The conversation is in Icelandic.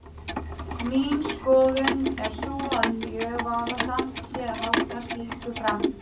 Mín skoðun er sú að mjög vafasamt sé að halda slíku fram.